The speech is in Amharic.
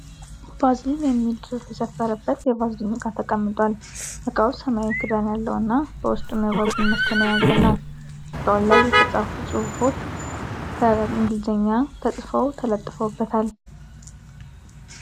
ቫዝሊን የሚል ጽሁፍ የሰፈረበት የቫዝሊን እቃ ተቀምጧል። እቃው ሰማያዊ ክዳን ያለው እና በውስጡም የቫዝሊን ምርትን የያዘ ነው። በእቃው ላይ የተለያዩ ጽሁፎች በእንግሊዘኛ ተጽፈው ተለጥፈዉበታል።